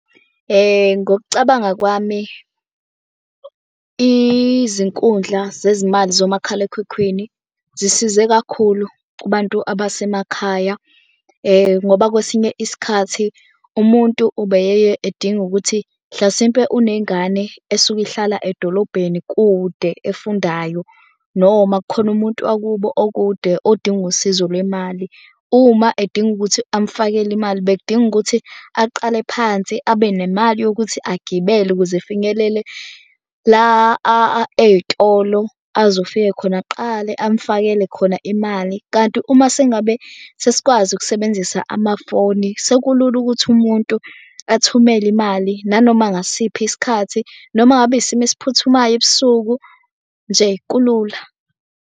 Ngokucabanga kwami, izinkundla zezimali zomakhalekhukhwini zisize kakhulu kubantu abasemakhaya ngoba kwesinye isikhathi umuntu ubeyeye edinga ukuthi mhlasimpe unengane esuke ihlala edolobheni kude efundayo. Noma kukhona umuntu wakubo okude odinga usizo lwemali. Uma edinga ukuthi amfakele imali bekudinga ukuthi aqale phansi abe nemali yokuthi agibele ukuze efinyelele la ey'tolo. Azofike khona aqale amfakele khona imali kanti uma sengabe sesikwazi ukusebenzisa amafoni, sekulula ukuthi umuntu athumele imali nanoma ngasiphi isikhathi, noma ngabe isimo esiphuthumayo ebusuku nje kulula.